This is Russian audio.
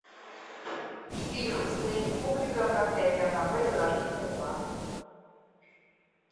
фильм стэнли кубрика проклятие аннабель зарождение зла